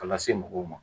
K'a lase mɔgɔw ma